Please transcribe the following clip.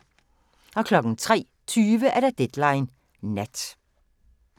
03:20: Deadline Nat